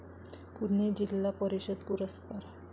पुणे जिल्हा परिषद पुरस्कार